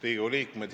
Riigikogu liikmed!